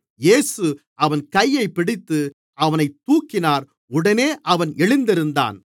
இயேசு அவன் கையைப் பிடித்து அவனைத் தூக்கினார் உடனே அவன் எழுந்திருந்தான்